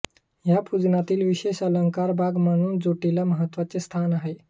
या पूजनातील विशेष अलंकरण भाग म्हणून झोटीला महत्वाचे स्थान आहे